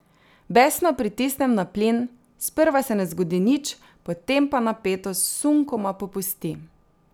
Besno pritisnem na plin, sprva se ne zgodi nič, potem pa napetost sunkoma popusti.